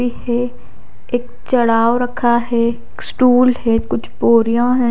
है एक चढ़ाव रखा है स्टूल है कुछ बोरियाँ है।